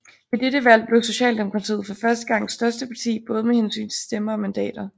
Ved dette valg blev Socialdemokratiet for første gang største parti både med hensyn til stemmer og mandater